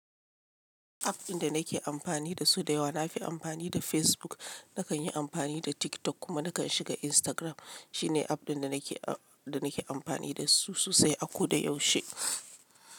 App ɗin da nake amfani da su da yawa nafi amfani da Facebook. Nakan yi amfani da TikTok kuma nakan shiga Instagram. Shine app ɗin da nake, da nake amfani da su sosai a ko da yaushe.